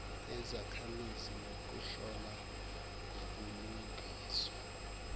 yezakhamizi nokuhola ngobulungiswa